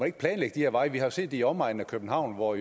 ikke planlægge de her veje vi har jo set det i omegnen af københavn hvor